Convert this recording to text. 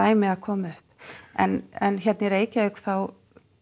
dæmi að koma upp en en hérna í Reykjavík þá